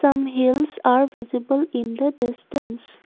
some hills are visible in the distance.